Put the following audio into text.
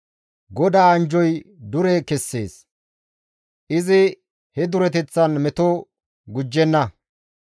GODAA anjjoy dure kessees; izi he dureteththan meto gujjenna.